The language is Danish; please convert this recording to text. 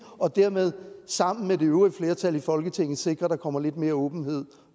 og dermed sammen med det øvrige flertal i folketinget sikre at der kommer lidt mere åbenhed